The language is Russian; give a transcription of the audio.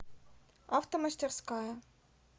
автомастерская